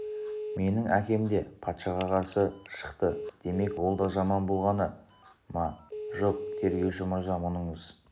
менің әкем де патшаға қарсы шықты демек ол да жаман болғаны ма жоқ тергеуші мырза мұныңыз